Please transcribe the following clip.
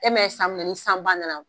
Ɛ mɛ ye san min na ni sanba nana